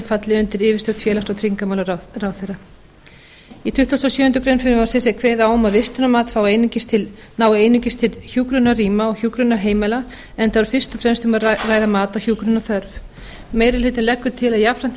falli undir yfirstjórn félags og tryggingamálaráðherra í tuttugasta og sjöundu greinar frumvarpsins er kveðið á um að vistunarmat nái einungis til hjúkrunarrýma og hjúkrunarheimila enda er fyrst og fremst um að ræða mat á hjúkrunarþörf meiri hlutinn leggur til að jafnframt